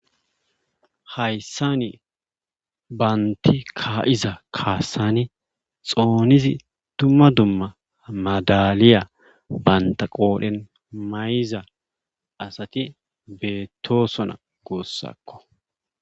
hayssani baanti ka7iza kaassani xoonizi tumma dumma madaliya banta qoodhen mayiza asati beettosona guussakko